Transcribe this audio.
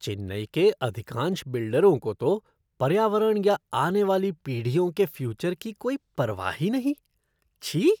चेन्नई के अधिकांश बिल्डरों को तो पर्यावरण या आने वाली पीढ़ियों के फ़्यूचर की कोई परवाह ही नहीं। छी!